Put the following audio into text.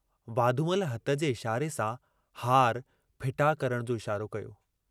वाधूमल हथ जे इशारे सां हार फिटा करण जो इशारो कयो।